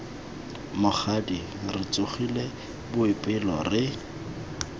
mokgadi re tsogile boipelo re